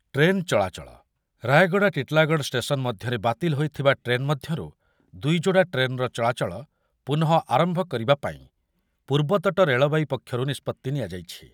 Train ଚଳାଚଳ, Rayagada Titlagarh station ମଧ୍ୟରେ ବାତିଲ ହୋଇଥିବା ଟ୍ରେନ୍ ମଧ୍ୟରୁ ଦୁଇଯୋଡ଼ା ଟ୍ରେନ୍‌ର ଚଳାଚଳ ପୁନଃ ଆରମ୍ଭ କରିବା ପାଇଁ ପୂର୍ବତଟ ରେଳବାଇ ପକ୍ଷରୁ ନିଷ୍ପତ୍ତି ନିଆଯାଇଛି।